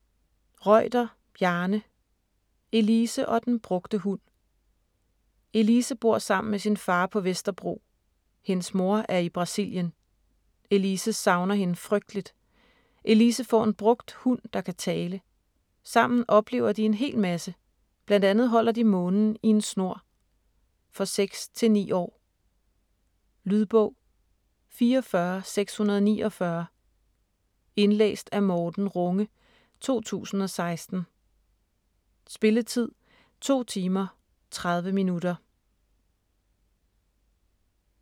Reuter, Bjarne: Elise og den brugte hund Elise bor sammen med sin far på Vesterbro. Hendes mor er i Brasilien. Elise savner hende frygteligt. Elise får en brugt hund, der kan tale. Sammen oplever de en hel masse - bl.a. holder de månen i en snor. For 6-9 år. Lydbog 44649 Indlæst af Morten Runge, 2016. Spilletid: 2 timer, 30 minutter.